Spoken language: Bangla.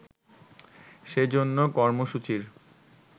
সে জন্য কর্মসূচির